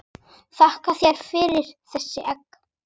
Þakka þér fyrir þessi egg.